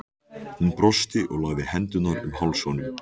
Hún brosti og lagði hendurnar um háls honum.